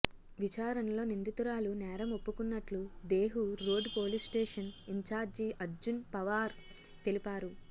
విచారణలో నిందితురాలు నేరం ఒప్పుకున్నట్లు Dehu road police station incharge Arjun Pawar తెలిపారు